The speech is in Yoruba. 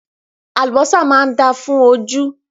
Àlùbọ́sà máa dáa fún ojú.